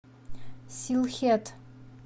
силхет